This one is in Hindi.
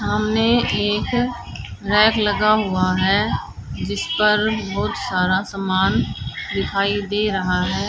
सामने एक रैक लगा हुआ है जिस पर बहोत सारा सामान दिखाई दे रहा है।